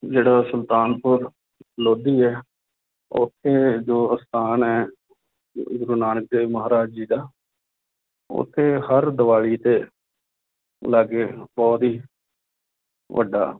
ਜਿਹੜਾ ਸੁਲਤਾਨਪੁਰ ਲੋਧੀ ਹੈ ਉੱਥੇ ਜੋ ਅਸਥਾਨ ਹੈ ਸ੍ਰੀ ਗੁਰੂ ਨਾਨਕ ਦੇਵ ਮਹਾਰਾਜ ਜੀ ਦਾ ਉੱਥੇ ਹਰ ਦੀਵਾਲੀ ਦੇ ਲਾਗੇ ਬਹੁਤ ਹੀ ਵੱਡਾ